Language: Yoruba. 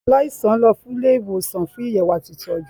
Aláìsàn lọ sì Ilé ìwòsàn fún Àyẹwò àti ìtọjú.